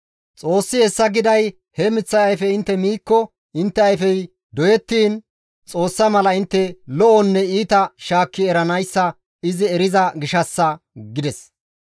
Xoossi hessa giday he miththay ayfe intte miikko intte ayfey doyettiin, Xoossa mala intte lo7onne iita shaakki eranayssa izi eriza gishshassa» gides.